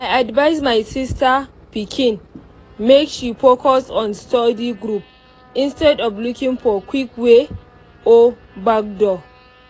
i advise my sister pikin make she focus on study group instead of looking for quick way or backdoor.